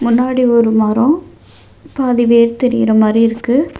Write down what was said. முன்னாடி ஒரு மரம் பாதி வேர் தெரியுற மாறியிருக்கு.